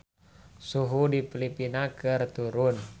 Suhu di Filipina keur turun